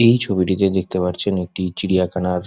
এই ছবিটিতে দেখতে পারছেন একটি চিড়িয়াখানার--